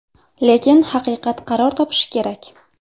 Lekin haqiqat qaror topishi kerak.